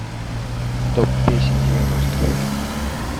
топ песен девяностых